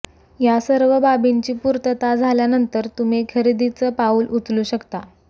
या सर्व बाबींची पुर्तता झाल्यानंतर तुम्ही खरेदीचं पाऊल उचलू शकता